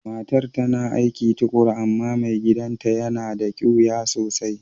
Matan ta na aiki tukuru amma mai gidan'ta ya na da kiwiya sosai.